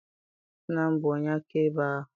Nna m bụ onye akaebe ahụ.